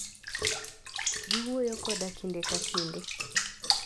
Giwuoyo koda kinde ka kinde.